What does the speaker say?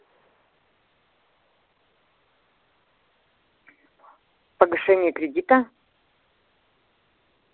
погашение кредита